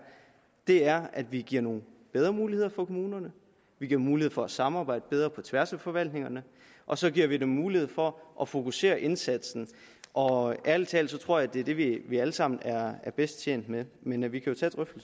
er at vi giver nogle bedre muligheder for kommunerne vi giver mulighed for at samarbejde bedre på tværs af forvaltningerne og så giver vi dem mulighed for at fokusere indsatsen og ærligt talt tror jeg at det er det vi vi alle sammen er bedst tjent med men vi kan